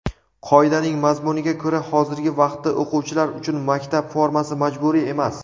Qoidaning mazmuniga ko‘ra hozirgi vaqtda o‘quvchilar uchun maktab formasi majburiy emas.